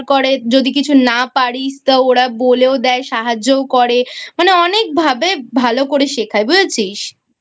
যদি কিছু না পারিস তা ওরা বলেও দেয় সাহায্যও করে মানে অনেক ভাবে ভালো করে শেখায় বুঝেছিস?